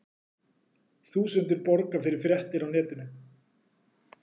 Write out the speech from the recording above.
Þúsundir borga fyrir fréttir á netinu